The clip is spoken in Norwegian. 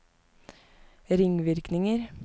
ringvirkninger